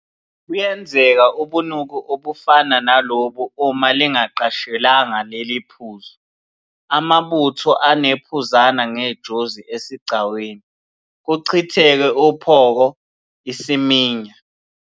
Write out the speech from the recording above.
Buyenzeka ubunuku obufana nalobu uma lingaqashelwanga leli phuzu, amabutho anephuzane ngejozi esigcawini, kuchitheke uphoko, isiminya.